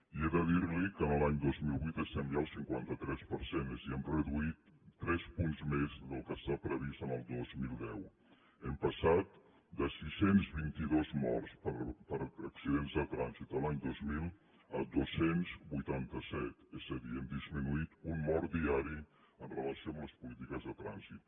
i he de dir li que l’any dos mil vuit estem ja al cinquanta tres per cent és a dir hem reduït tres punts més del que està previst per al dos mil deu hem passat de sis cents i vint dos morts per accidents de trànsit l’any dos mil a dos cents i vuitanta set és a dir hem disminuït un mort diari amb relació a les polítiques de trànsit